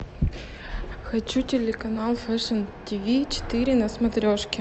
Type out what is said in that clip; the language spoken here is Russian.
хочу телеканал фэшн тв четыре на смотрешке